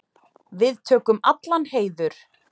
Við tökum allan heiður.